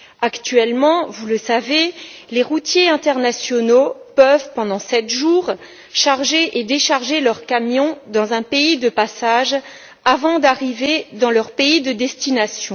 Actuellement, vous le savez, les routiers internationaux peuvent, pendant sept jours, charger et décharger leurs camions dans un pays de passage avant d'arriver dans leur pays de destination.